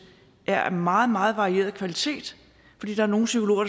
er af meget meget varierende kvalitet fordi der er nogle psykologer